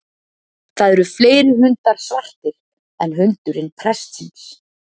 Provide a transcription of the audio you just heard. Það eru fleiri hundar svartir en hundurinn prestsins.